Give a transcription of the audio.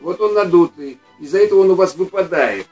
вот он надутый из-за этого он у вас выпадает